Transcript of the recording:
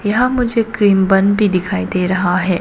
यहां मुझे cream bun भी दिखाई दे रहा है।